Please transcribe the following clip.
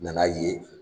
Nana ye